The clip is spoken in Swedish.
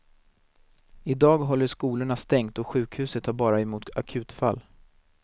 I dag håller skolorna stängt och sjukhuset tar bara emot akutfall.